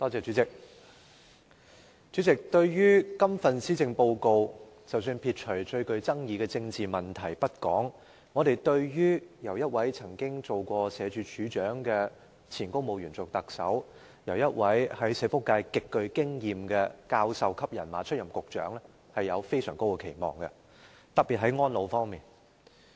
主席，對於這份施政報告，撇除最具爭議的政治問題不談，我們對於由一位曾任社會福利署署長的前公務員出任特首，以及由一位在社福界極具經驗的教授級人馬出任局長，抱有非常高的期望，特別在安老方面。